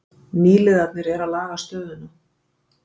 Nýliðarnir eru að laga stöðuna